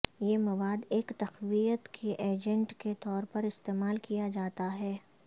یہ مواد ایک تقویت کے ایجنٹ کے طور پر استعمال کیا جاتا ہے